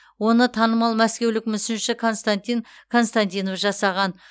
оны танымал мәскеулік мүсінші константин константинов жасаған